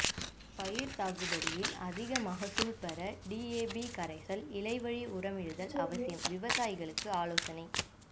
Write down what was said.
பயிர் சாகுபடியில் அதிக மகசூல் பெற டிஏபி கரைசல் இலைவழி உரமிடுதல் அவசியம் விவசாயிகளுக்கு ஆலோசனை